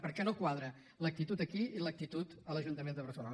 perquè no quadra l’actitud aquí i l’actitud a l’ajuntament de barcelona